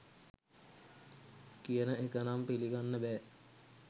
කියන එක නම් පිළිගන්න බෑ